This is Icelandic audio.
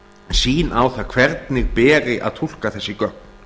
sýn á það hvernig beri að túlka þessi gögn